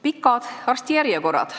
Pikad arstijärjekorrad.